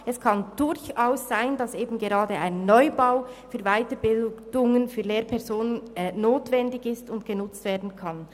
Es kann durchaus sein, dass eben gerade ein Neubau für Weiterbildungen für Lehrpersonen notwendig ist und genutzt werden kann.